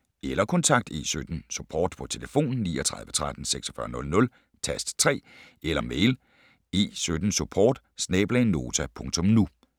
Eller kontakt E17 Support på tlf. 39 13 46 00, tast 3, eller mail e17support@nota.nu